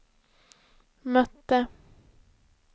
mötte